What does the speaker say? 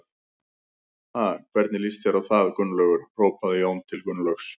Ha, hvernig líst þér á það Gunnlaugur? hrópaði Jón til Gunnlaugs.